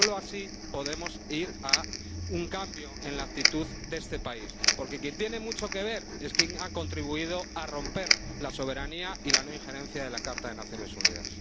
Solo así podemos ir a un cambio en la actitud de este país, porque quien tiene mucho que ver es quien ha contribuido a romper la soberanía y la no injerencia de la Carta de las Naciones Unidas.